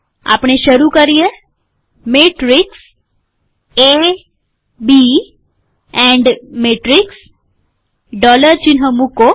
આપણે શરૂ કરીએ matrix A B and matrix dollar ચિહ્ન મુકો